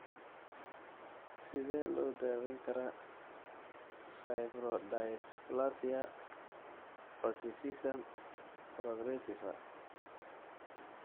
Sidee loo daweyn karaa fibrodysplasia ossificans progressiva?